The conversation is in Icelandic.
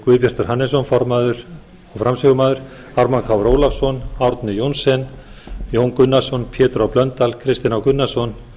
guðbjartur hannesson formaður frá ármann krónu ólafsson árni johnsen jón gunnarsson pétur h blöndal kristinn h gunnarsson